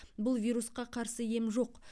бұл вирусқа қарсы ем жоқ